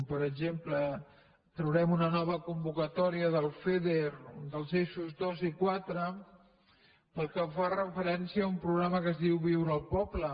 per exemple traurem una nova convocatòria del feder dels eixos dos i quatre pel que fa referència a un programa que es diu viure al poble